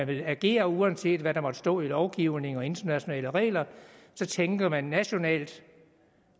vil agere uanset hvad der måtte stå i lovgivning og internationale regler tænker man nationalt